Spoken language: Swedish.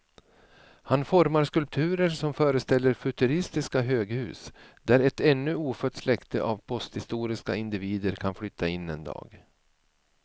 Han formar skulpturer som föreställer futuristiska höghus där ett ännu ofött släkte av posthistoriska individer kan flytta in en dag.